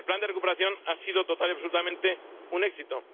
Hombre, el plan de recuperación ha sido total y absolutamente un éxito.